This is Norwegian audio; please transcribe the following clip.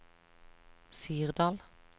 Sirdal